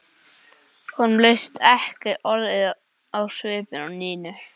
Honum leist ekki orðið á svipinn á Nínu.